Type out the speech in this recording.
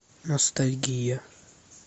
ностальгия